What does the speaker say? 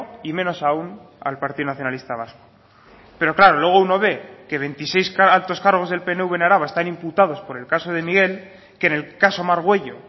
y menos aún al partido nacionalista vasco pero claro luego uno ve que veintiséis altos cargos del pnv en araba están imputados por el caso de miguel que en el caso margüello